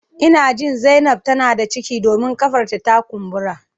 Ina jin zainab tana da ciki domin kafar ta ta kumbura